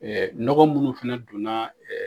Ɛɛ nɔgɔ minnu fana donna